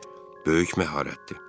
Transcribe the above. "Böyük məharətdir."